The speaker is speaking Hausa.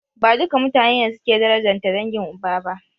Ba duka mutane ne suke darajanta dangin uba ba.